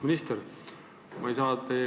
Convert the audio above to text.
Auväärt minister!